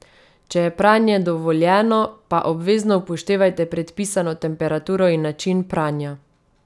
Če je pranje dovoljeno, pa obvezno upoštevajte predpisano temperaturo in način pranja.